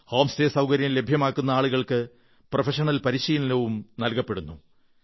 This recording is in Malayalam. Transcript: ഹോം സ്റ്റേ സൌകര്യം ലഭ്യമാക്കുന്ന ആളുകൾക്ക് പ്രൊഫഷണൽ പരിശീലനവും ലഭ്യമാക്കപ്പെടുന്നു